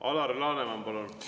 Alar Laneman, palun!